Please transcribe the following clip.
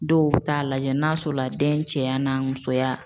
Dɔw bɛ taa lajɛ n'a sɔrɔ la den cɛya n'a musoya